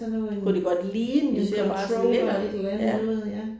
Kunne det godt ligne det ser bare sådan lidt ja